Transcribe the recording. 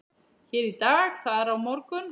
Hér í dag, þar á morgun.